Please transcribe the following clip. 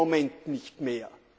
Es geht im Moment nicht mehr.